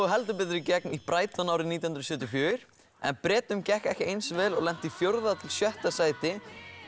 heldur betur í gegn í Brighton árið nítján hundruð sjötíu og fjögur en Bretum gekk ekki eins vel og lentu í fjórða til sjötta sæti